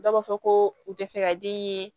Dɔw b'a fɔ ko u tɛ fɛ ka den ye